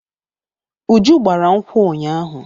Uju gbara nkwụ ụnyaahụ.